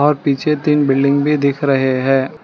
और पीछे तीन बिल्डिंग भी दिख रहे हैं।